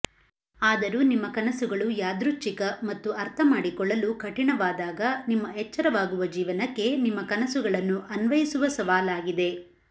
ಆದರೂ ನಿಮ್ಮ ಕನಸುಗಳು ಯಾದೃಚ್ಛಿಕ ಮತ್ತು ಅರ್ಥಮಾಡಿಕೊಳ್ಳಲು ಕಠಿಣವಾದಾಗ ನಿಮ್ಮ ಎಚ್ಚರವಾಗುವ ಜೀವನಕ್ಕೆ ನಿಮ್ಮ ಕನಸುಗಳನ್ನು ಅನ್ವಯಿಸುವ ಸವಾಲಾಗಿದೆ